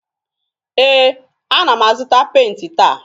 Ee, ana m azụta penti taa.